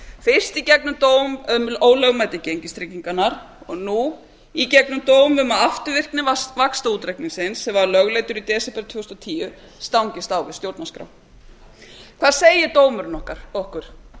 fyrst í gegnum dóm um ólögmæti gengistryggingarinnar og nú í gegnum dóm um að afturvirkni vaxtaútreikningsins sem var lögleiddur í desember tvö þúsund og tíu stangist á við stjórnarskrá hvað segir dómurinn okkur